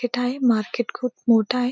तिथ आहे मार्केट खूप मोठ आहे.